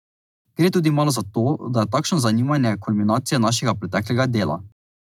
Gre tudi malo za to, da je takšno zanimanje kulminacija našega preteklega dela.